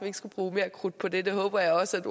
ikke skal bruge mere krudt på det det håber jeg også